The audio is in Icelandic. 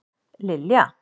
Lilja